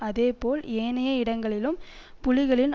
அதே போல் ஏனைய இடங்களிலும் புலிகளின்